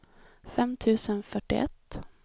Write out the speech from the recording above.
fem tusen fyrtioett